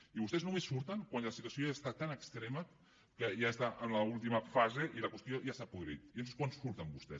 i vostès només surten quan la situació ja és tan extrema que ja està en l’última fase i la qüestió ja s’ha podrit llavors és quan surten vostès